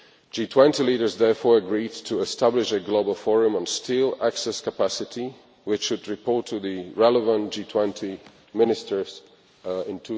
G20 leaders therefore agreed to establish a global forum on steel access capacity, which should report to the relevant G20 Ministers in